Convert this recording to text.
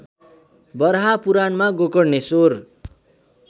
वराहपुराणमा Gokarneshwar